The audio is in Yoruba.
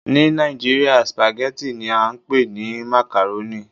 Ni Nigeria, spaghetti ni a npe ni macaroni